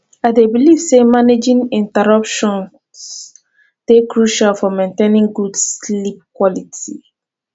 i dey believe say managing interruptions dey crucial for maintaining good sleep quality